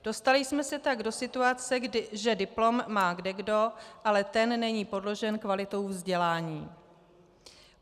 Dostali jsme se tak do situace, že diplom má kdekdo, ale ten není podložen kvalitou vzdělání.